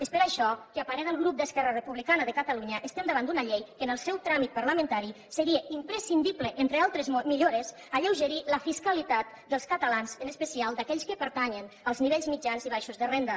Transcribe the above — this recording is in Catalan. és per això que a parer del grup d’esquerra republicana de catalunya estem davant d’una llei en què en el seu tràmit parlamentari seria imprescindible entre altres millores alleugerir la fiscalitat dels catalans en especial d’aquells que pertanyen als nivells mitjans i baixos de renda